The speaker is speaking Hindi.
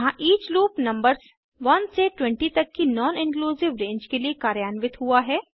यहाँ ईच लूप नंबर्स 1 से 20 तक की नॉन इंक्लूसिव रेंज के लिए कार्यान्वित हुआ है